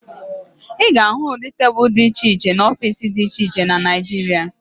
Ị ga-ahụ ụdị tebulu dị iche iche n'ọfiisi dị iche iche na Naịjirịa